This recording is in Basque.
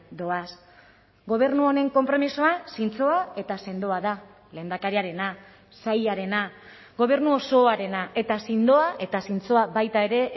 doaz gobernu honen konpromisoa zintzoa eta sendoa da lehendakariarena sailarena gobernu osoarena eta sendoa eta zintzoa baita ere